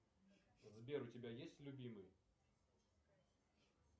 сбер у тебя есть любимый